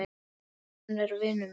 Mér finnst hún vera vinur minn.